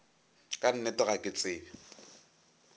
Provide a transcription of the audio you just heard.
ka nnete ga ke tsebe